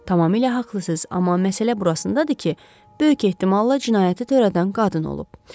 Tamamilə haqlısınız, amma məsələ burasındadır ki, böyük ehtimal cinayəti törədən qadın olub.